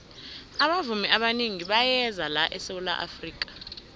abavumi abanengi bayeza la esawula afrika